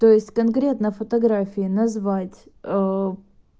то есть конкретно фотографии назвать